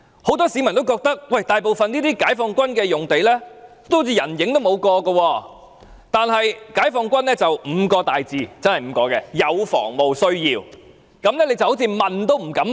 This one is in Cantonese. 很多市民也覺得，這些解放軍用地大部分像是人影也沒一個，但解放軍卻以"有防務需要"這5個大字為由，令人問也不敢問。